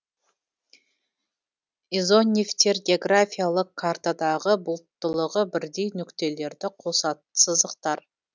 изонефтер географиялык картадағы бұлттылығы бірдей нүктелерді қосатын сызықтар